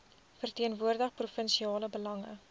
verteenwoordig provinsiale belange